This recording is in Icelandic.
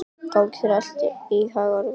Gangi þér allt í haginn, Lundi.